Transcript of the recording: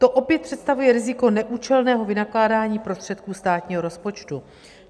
To opět představuje riziko neúčelného vynakládání prostředků státního rozpočtu.